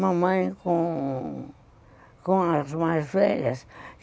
Mamãe com as mais velhas.